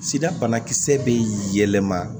Sida banakisɛ bɛ yɛlɛma